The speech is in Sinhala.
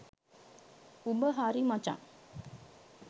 උබ හරි මචං